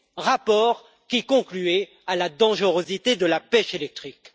rapport qui concluait à la dangerosité de la pêche électrique.